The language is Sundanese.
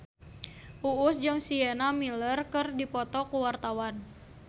Uus jeung Sienna Miller keur dipoto ku wartawan